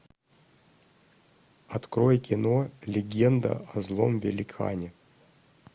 открой кино легенда о злом великане